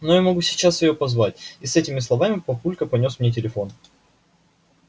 но я могу сейчас её позвать и с этими словами папулька понёс мне телефон